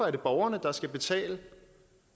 er borgerne der skal betale